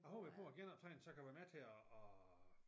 Jeg håber jo på at genoptræne så jeg kan være med til at at